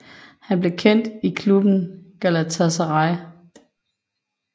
Han blev kendt i klubben Galatasaray